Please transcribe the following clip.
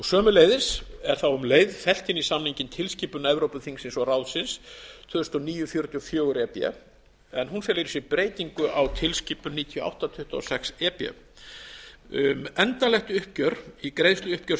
sömuleiðis er þá um leið fellt inn í samninginn tilskipun evrópuþingsins og ráðsins tvö þúsund og níu fjörutíu og fjögur e b en hún felur í sér breytingu á tilskipun níutíu og átta tuttugu og sex e b um endanlegt uppgjör í